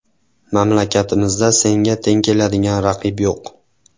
Mamlakatimizda senga teng keladigan raqib yo‘q.